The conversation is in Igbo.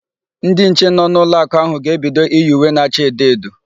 Ndị nche nọ n'ụlọakụ áhụ̀ ga-ebido iyi uwe na acha edo edo.